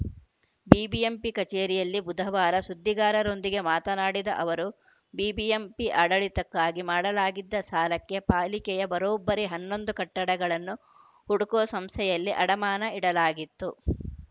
BBMP ಕಚೇರಿಯಲ್ಲಿ ಬುಧವಾರ ಸುದ್ದಿಗಾರರೊಂದಿಗೆ ಮಾತನಾಡಿದ ಅವರು ಬಿಬಿಎಂಪಿ ಆಡಳಿತಕ್ಕಾಗಿ ಮಾಡಲಾಗಿದ್ದ ಸಾಲಕ್ಕೆ ಪಾಲಿಕೆಯ ಬರೋಬ್ಬರಿ ಹನ್ನೊಂದು ಕಟ್ಟಡಗಳನ್ನು ಹುಡ್ಕೋ ಸಂಸ್ಥೆಯಲ್ಲಿ ಅಡಮಾನ ಇಡಲಾಗಿತ್ತು